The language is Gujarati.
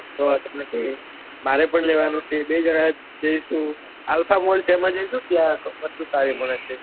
મારે પણ લેવા નું છે બે જણા જઈશું alpha mall છે એમાં જઈશું એમાં વસ્તુ સારું મળે છે